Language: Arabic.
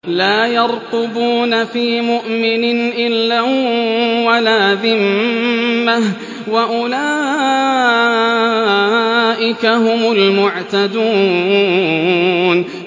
لَا يَرْقُبُونَ فِي مُؤْمِنٍ إِلًّا وَلَا ذِمَّةً ۚ وَأُولَٰئِكَ هُمُ الْمُعْتَدُونَ